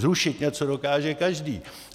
Zrušit něco dokáže každý.